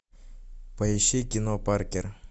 поищи кино паркер